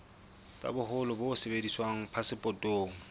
tsa boholo bo sebediswang phasepotong